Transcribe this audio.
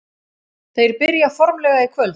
Þeir byrja formlega í kvöld.